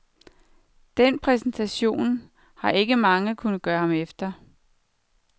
Den præstation har ikke mange kunnet gøre ham efter.